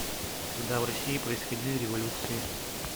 когда в россии происходили революции